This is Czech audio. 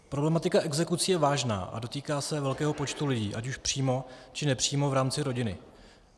Problematika exekucí je vážná a dotýká se velkého počtu lidí, ať už přímo, či nepřímo v rámci rodiny.